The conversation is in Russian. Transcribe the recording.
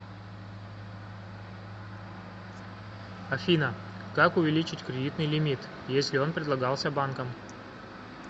афина как увеличить кредитный лимит если он предлагался банком